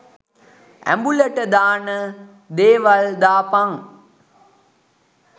ඇඹුලට දාන දේවල් දාපන්.